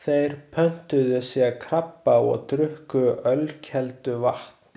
Þeir pöntuðu sér krabba og drukku ölkelduvatn.